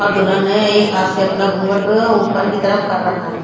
और दुल्हन ने एक हाथ से अपना घुंघट ऊपर की तरफ कर रखा है।